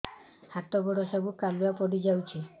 ହାତ ଗୋଡ ସବୁ କାଲୁଆ ପଡି ଯାଉଛି